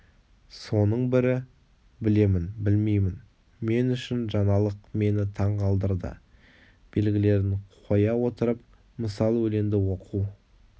соның бірі білемін білмеймін мен үшін жаңалық мені таң қалдырды белгілерін қоя отырып мысал өлеңді оқу